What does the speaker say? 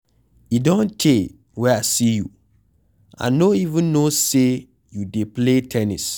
E don tey wey I see you, I no even no say you dey play ten nis